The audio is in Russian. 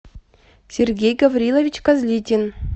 сергей гаврилович козлитин